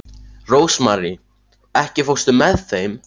Rósmarý, ekki fórstu með þeim?